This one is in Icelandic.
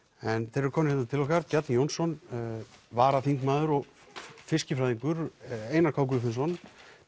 þeir eru komnir hérna til okkar Bjarni Jónsson varaþingmaður og fiskifræðingur Einar k Guðfinnsson